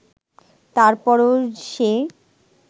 তারপরও সে